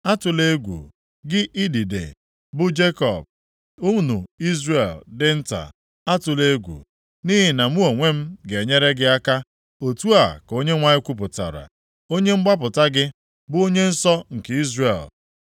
Atụla egwu, gị idide, bụ Jekọb, unu Izrel dị nta, atụla egwu, nʼihi na mụ onwe m ga-enyere gị aka,” otu a ka Onyenwe anyị kwupụtara, Onye mgbapụta gị, bụ Onye nsọ nke Izrel.